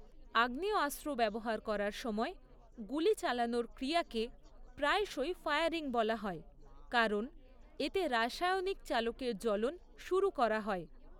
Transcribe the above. আগ্নেয়াস্ত্র ব্যবহার করার সময় গুলি চালানোর ক্রিয়াকে প্রায়শই ফায়ারিং বলা হয়, কারণ এতে রাসায়নিক চালকের জ্বলন শুরু করা হয়।